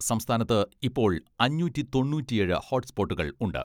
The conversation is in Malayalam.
സംസ്ഥാനത്ത് ഇപ്പോൾ അഞ്ഞൂറ്റി തൊണ്ണൂറ്റിയേഴ് ഹോട്ട്സ്പോട്ടുകൾ ഉണ്ട്.